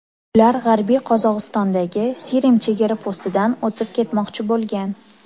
Ular G‘arbiy Qozog‘istondagi Sirim chegara postidan o‘tib ketmoqchi bo‘lgan.